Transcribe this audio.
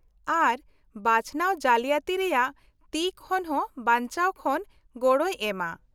-ᱟᱨ ᱵᱟᱪᱷᱱᱟᱣ ᱡᱟᱞᱤᱭᱟᱛᱤ ᱨᱮᱭᱟᱜ ᱛᱤ ᱠᱷᱚᱱ ᱦᱚᱸ ᱵᱟᱧᱪᱟᱣ ᱠᱷᱚᱱ ᱜᱚᱲᱚᱭ ᱮᱢᱟ ᱾